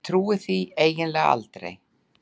Ég trúi því eiginlega aldrei.